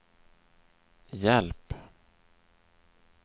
hjälp